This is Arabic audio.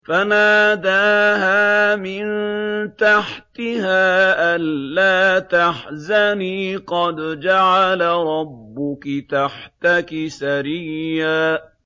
فَنَادَاهَا مِن تَحْتِهَا أَلَّا تَحْزَنِي قَدْ جَعَلَ رَبُّكِ تَحْتَكِ سَرِيًّا